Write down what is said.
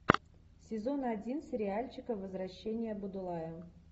сезон один сериальчика возвращение будулая